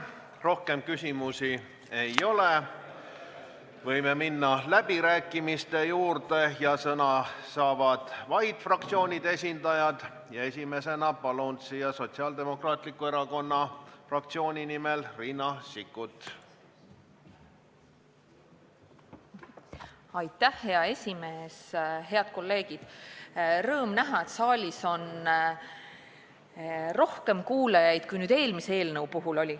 Rõõm näha, et saalis on rohkem kuulajaid kui eelmise eelnõu puhul.